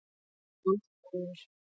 Land kólnar.